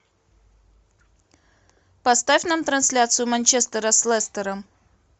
поставь нам трансляцию манчестера с лестером